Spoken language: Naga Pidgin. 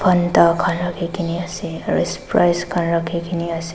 anda khan rakhikae naase aru sprise khan rakhikaena ase.